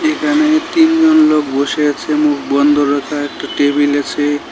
এখানে তিনজন লোক বসে আছে মুখ বন্ধ রাখা একটা টেবিল আছে।